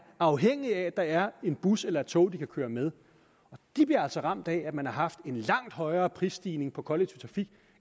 afhængige af at der er en bus eller et tog de kan køre med de bliver altså ramt af at man har haft en langt højere prisstigning på kollektiv trafik